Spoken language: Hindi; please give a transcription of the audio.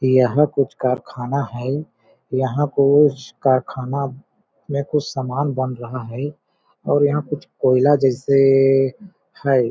यहाँ कुछ कारखाना है यहाँ कुछ कारखाना में कुछ सामान बन रहा है और यहाँ कुछ कोयला जैसे है।